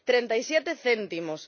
37 céntimos.